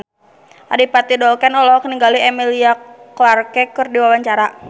Adipati Dolken olohok ningali Emilia Clarke keur diwawancara